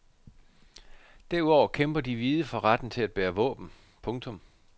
Derudover kæmper de hvide for retten til at bære våben. punktum